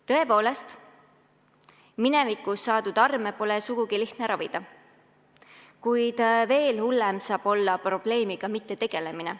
Tõepoolest, minevikus saadud arme pole sugugi lihtne ravida, kuid veel hullem on probleemiga mittetegelemine.